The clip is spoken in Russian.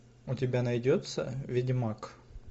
у тебя найдется ведьмак